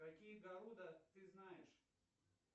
какие города ты знаешь